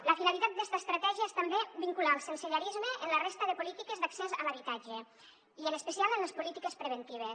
la finalitat d’esta estratègia és també vincular el sensellarisme amb la resta de polítiques d’accés a l’habitatge i en especial amb les polítiques preventives